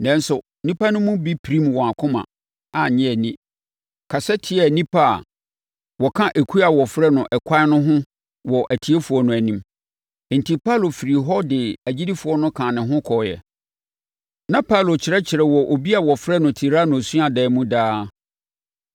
Nanso, nnipa no mu bi pirimm wɔn akoma, annye nni, kasa tiaa nnipa a wɔka ekuo a wɔfrɛ no Ɛkwan no ho wɔ atiefoɔ no anim. Enti, Paulo firii hɔ de agyidifoɔ no kaa ne ho kɔeɛ. Na Paulo kyerɛkyerɛ wɔ obi a wɔfrɛ no Tirano suadan mu daa.